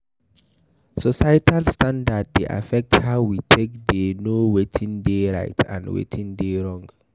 Societal standards dey affect how we take dey know wetin dey right and wetin dey wrong